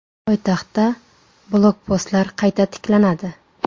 Poytaxtda blokpostlar qayta tiklanadi.